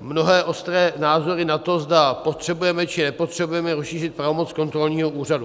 mnohé ostré názory na to, zda potřebujeme, či nepotřebujeme rozšířit pravomoc kontrolního úřadu.